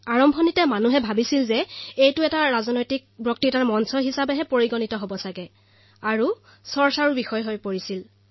পোনতে জনতাই ভাবিছিল যে এয়া এক ৰাজনৈতিক মঞ্চ হিচাপে পৰিচিত হব আৰু সমালোচনাৰ কেন্দ্ৰবিন্দুও হৈ পৰিছিল